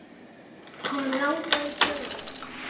Hann langaði í tölvu.